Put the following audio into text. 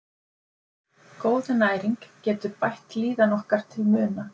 Góð næring getur bætt líðan okkar til muna.